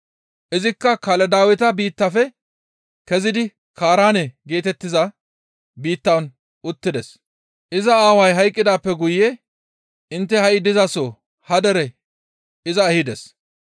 Izikka Kaladaaweta biittafe kezidi Kaaraane geetettiza biittan uttides. Iza aaway hayqqidaappe guye intte ha7i dizaso ha dere iza ehides.